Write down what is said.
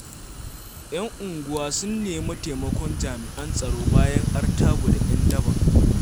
Y'an unguwa sun nemi taimakon jami'an tsaro, bayan artabu da 'yan daba.